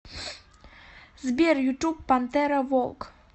сбер ютуб пантера волк